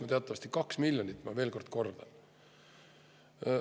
Ja teatavasti läks see maksma, ma kordan, kaks miljonit.